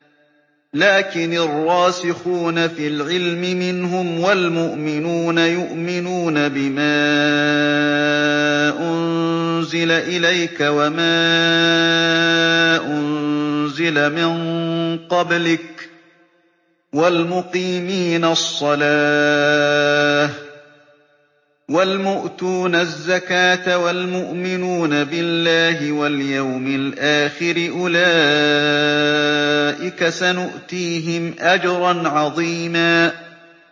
لَّٰكِنِ الرَّاسِخُونَ فِي الْعِلْمِ مِنْهُمْ وَالْمُؤْمِنُونَ يُؤْمِنُونَ بِمَا أُنزِلَ إِلَيْكَ وَمَا أُنزِلَ مِن قَبْلِكَ ۚ وَالْمُقِيمِينَ الصَّلَاةَ ۚ وَالْمُؤْتُونَ الزَّكَاةَ وَالْمُؤْمِنُونَ بِاللَّهِ وَالْيَوْمِ الْآخِرِ أُولَٰئِكَ سَنُؤْتِيهِمْ أَجْرًا عَظِيمًا